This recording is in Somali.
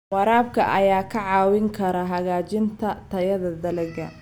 Waraabka ayaa kaa caawin kara hagaajinta tayada dalagga.